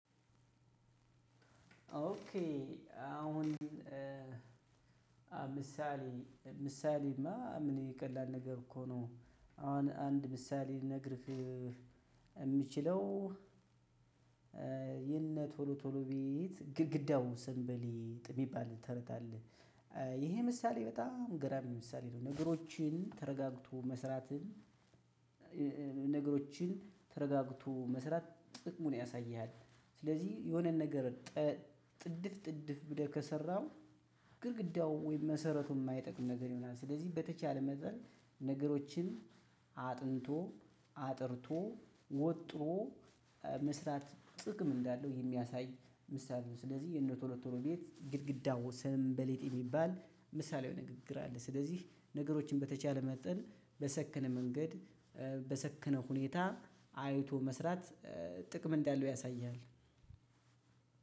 ኦኬ አሁን ምሳሌ ምሳሌማ ምን የቀላል ነገር እኮ ነው አሁን አንድ ምሳሌ ልንገርህ። የምችለው እ የነ ቶሎ ቶሎ ቤት ግድግዳው ስንበሌጥ የሚባል ተረት አለ። እ ይሄ ምሳሌ በጣም ገራሚ ምሳሌ ነው። ነገሮችን ተረጋግቶ መስራትን እ ነገሮችን ተረጋግቶ መስራት ጥቅሙን ያሳይሃል። ስለዚህ የሆነን ነገር ጠ ጥድፍ ጥድፍ ብለህ ከሰራህ ግድግዳው ወይም መሰረቱ የማይጠቅም ነገር ይሆናል። ስለዚህ በተቻለ መጠን ነገሮችን አጥንቶ አጥርቶ ወጥሮ መስራት ጥቅም እንዳለው የሚያሳይ ምሳሌ ነው። ስለዚህ የነ ቶሎ ቶሎ ቤት ግድግዳው ስንበሌጥ የሚባል ምሳሌያዊ ንግግር አለ። ስለዚህ ነገሮችን በተቻለ መጠን በሰከነ መንገድ በሰከነ ሁኔታ አይቶ መስራት እ ጥቅም እንዳለው ያሳይሃል።